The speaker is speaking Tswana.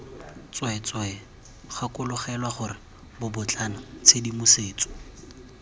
tsweetswee gakologelwa gore bobotlana tshedimosetso